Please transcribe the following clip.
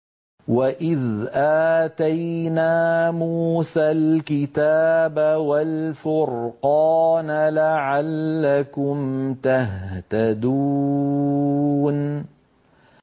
وَإِذْ آتَيْنَا مُوسَى الْكِتَابَ وَالْفُرْقَانَ لَعَلَّكُمْ تَهْتَدُونَ